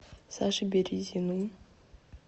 саше березину